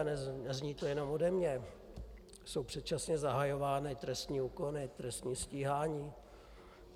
A nezní to jen ode mne, jsou předčasně zahajovány trestní úkony, trestní stíhání.